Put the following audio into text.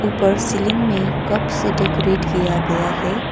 पर सीलिंग में कप से डेकोरेट किया गया है।